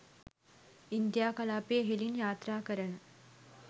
India කලාපය ඉහළින් යාත්‍රාකරන